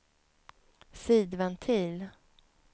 sidventil